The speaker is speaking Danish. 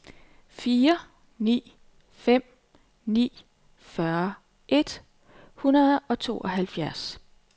fire ni fem ni fyrre et hundrede og tooghalvfjerds